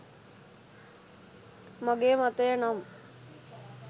මගේ මතය නම්